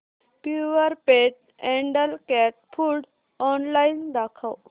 Purepet adult cat food online दाखव